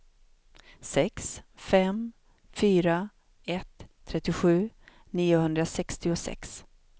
sex fem fyra ett trettiosju niohundrasextiosex